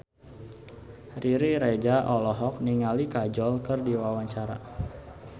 Riri Reza olohok ningali Kajol keur diwawancara